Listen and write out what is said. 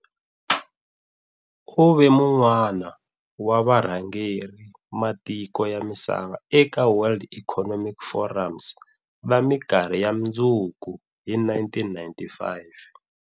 U ve wun'wana wa varhangeri matiko ya misava eka World Economic Forums va mikarhi ya mundzuku hi 1995.